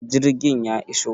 jirgin ya iso?